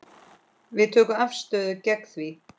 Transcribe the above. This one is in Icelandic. Við tökum afstöðu gegn því.